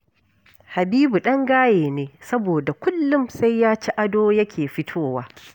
Habibu ɗan gaye ne, saboda kullum sai ya ci ado yake fitowa